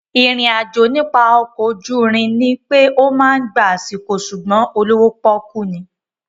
Ìrìn àjò nípa ọkọ̀ ojúrin ní pé ó máa gba àsìkò sùgbón olówó pọ́kú ni